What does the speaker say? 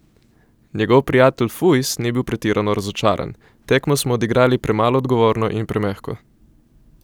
Njegov prijatelj Fujs ni bil pretirano razočaran: "Tekmo smo odigrali premalo odgovorno in premehko.